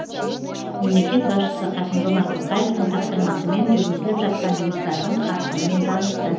мемлекет басшысы қасым жомарт тоқаевтың тапсырмасымен жүргізіліп жатқан жұмыстардың қарқынымен танысты